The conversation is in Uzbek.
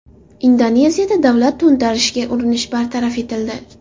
Indoneziyada davlat to‘ntarishiga urinish bartaraf etildi.